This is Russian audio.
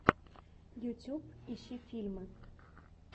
ютуб ищи фильмы